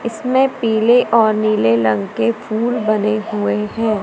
इसमें पीले और नीले लंग के फूल बने हुए हैं।